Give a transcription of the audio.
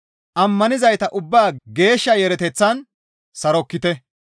Ammanizayta ubbaa geeshsha yeereteththan sarokkite.